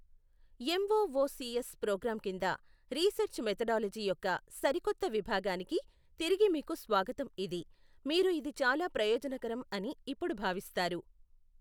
MOOCs program కింద research methodology యొక్క సరికొత్త విభాగానికి తిరిగి మీకు స్వాగతం ఇది. మీరు ఇది చాలా ప్రయోజనకరం అని ఇప్పుడు భావిస్తారు.